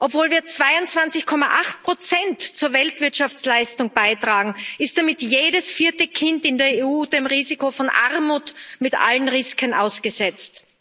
Obwohl wir 22,8 zur Weltwirtschaftsleistung beitragen, ist damit jedes vierte Kind in der EU dem Risiko von Armut mit allen Risiken ausgesetzt.